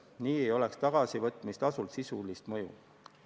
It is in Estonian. Nii ei oleks tagasivõtmistasul sisulist mõju.